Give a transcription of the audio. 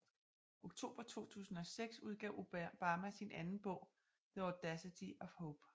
Oktober 2006 udgav Obama sin anden bog The audacity of hope